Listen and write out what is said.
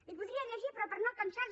i podria llegir però per no cansar los